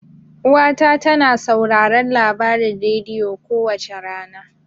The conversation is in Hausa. Uwa ta tana sauraron labarin rediyo kowace rana.